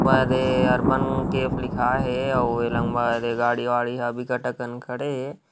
अरे यार बन केफ लिखा है ए_ ऑउ ये लंबा ए दे गाड़ी वाड़ी ह विकतकन् खड़े है ।